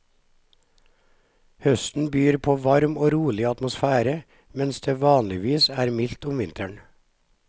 Høsten byr på varm og rolig atmosfære, mens det vanligvis er mildt om vinteren.